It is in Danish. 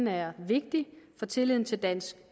er vigtig for tilliden til dansk